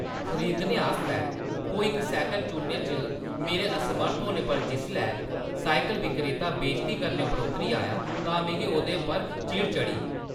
खरीदने आस्तै कोई इक साइकल चुनने च मेरे असमर्थ होने पर जिसलै साइकल विक्रेता बेजती करने उप्पर उतरी आया तां मिगी ओह्‌दे उप्पर चिड़ चढ़ी।